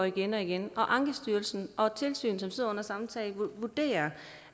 igen og igen og ankestyrelsen og et tilsyn som sidder med den samme sag vurderer